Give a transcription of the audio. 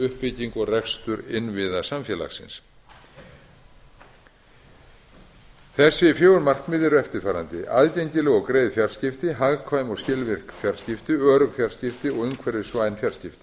uppbyggingu og rekstur innviða samfélagsins þessi fjögur markmið eru eftirfarandi aðgengileg og greið fjarskipti hagkvæm og skilvirk fjarskipti örugg fjarskipti og umhverfisvæn fjarskipti